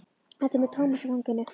Edda er með Tómas í fanginu.